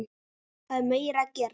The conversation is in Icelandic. Það er meira að gera.